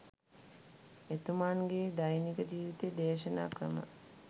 එතුමන් ගේ දෛනික ජීවිතය දේශනා ක්‍රම